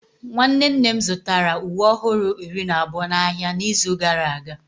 nwanne nne m zụtara uwe ọhụrụ iri na abụọ n'ahịa n'izu gara aga